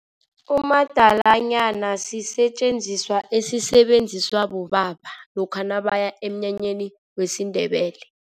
Umadalanyana sisetjenziswa esisebenziswa bobaba lokha nabaya emnyanyeni wesiNdebele.